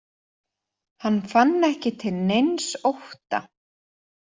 Hann fann ekki til neins ótta.